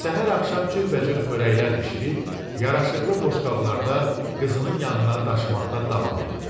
Səhər-axşam cürbəcür xörəklər bişirib, yaraşıqlı boşqablarda qızının yanına daşımaqda davam elədi.